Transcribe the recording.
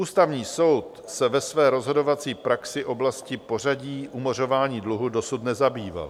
Ústavní soud se ve své rozhodovací praxi oblastí pořadí umořování dluhu dosud nezabýval.